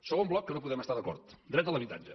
segon bloc en què no podem estar d’acord dret de l’habitatge